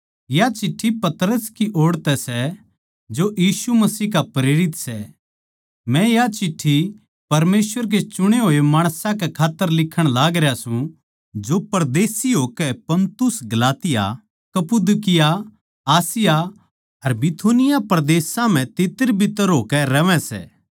या चिट्ठी पतरस की ओड़ तै सै जो यीशु मसीह का प्रेरित सै मै या चिट्ठी परमेसवर के चुणे होए माणसां कै खात्तर लिखण लागरया सूं जो परदेशी होकै पुन्तुस गलातिया कप्पदूकिया आसिया अर बिथुनिया परदेसां म्ह तित्तरबित्तर होकै रहवै सै